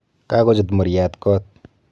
Kaakochut muryaat koot